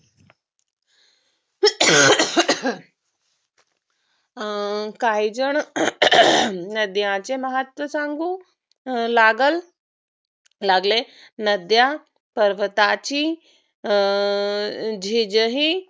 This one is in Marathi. अं काहीजण नद्यांचे महत्व सांगू लागलं लागले. नद्या पर्वताची अं झीज ही